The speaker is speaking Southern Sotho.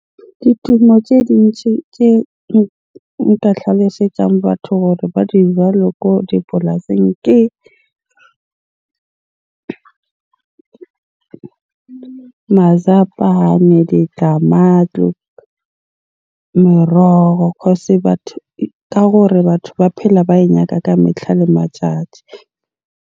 Ditumo tje dintsi tse nka tlhalosetsang batho hore ba di jale ko dipolasing ke , meroho. Cause batho, ka hore batho ba phela ba e nyaka ka metlha le matjatji.